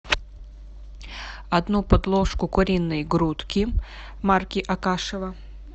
одну подложку куриной грудки марки акашево